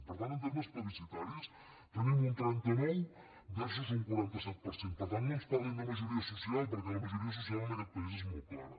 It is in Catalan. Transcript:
per tant en termes plebiscitaris tenim un trenta nou versus un quaranta set per cent per tant no ens parlin de majoria social perquè la majoria social en aquest país és molt clara